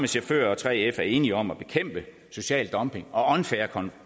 chauffører og 3f er enige om at bekæmpe social dumping og unfair